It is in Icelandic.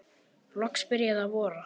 Loks byrjaði að vora.